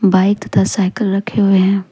Bike तथा cycle रखे हुए है।